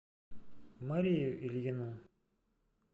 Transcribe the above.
марию ильину